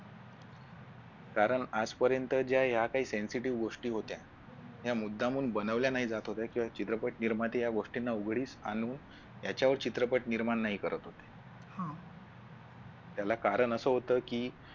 कारण आजपर्यंत या ज्या काही sensitive गोष्टी होत्या ह्या मुद्दामून बनवल्या नाही जात होत्या किंवा चित्रपट निर्माते या गोष्टीना उघडीस आणून ह्याच्यावर चित्रपट निर्माण नाही करत होते त्याला कारण असं होत कि